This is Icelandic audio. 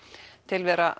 tilvera